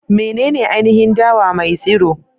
Menene ainihin dawa mai tsiro?